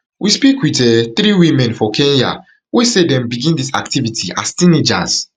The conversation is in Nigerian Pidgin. we speak wit um three women for kenya wey say dem begin dis activity as teenagers